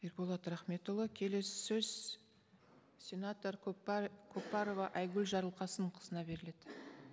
ерболат рахметұлы келесі сөз сенатор көпбарова айгүл жарылқасынқызына беріледі